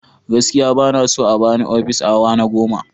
Gaskiya ba na so a ba ni ofis a hawa na goma.